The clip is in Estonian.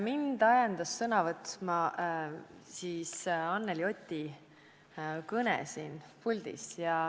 Mind ajendas sõna võtma Anneli Oti kõne siin puldis.